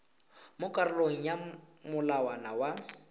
mo karolong ya molawana wa